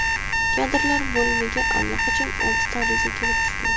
Kadrlar bo‘limiga allaqachon oltita ariza kelib tushgan.